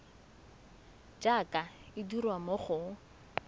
jaaka e dirwa mo go